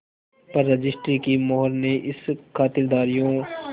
पर रजिस्ट्री की मोहर ने इन खातिरदारियों